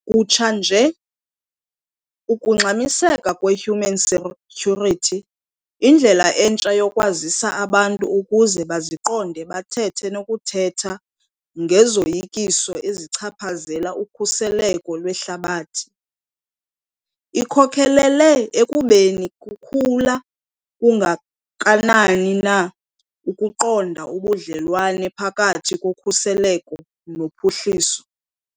Kutsha nje, ukungxamiseka kwe-human security - indlela entsha yokwazisa abantu ukuze baziqonde bathethe nokuthetha ngezoyikiso ezichaphazela ukhuseleko lwehlabathi - ikhokhelele ekubeni kukhula kangakanani na ukuqonda ubudlelwane phakathi kokhuseleko nophuhliso.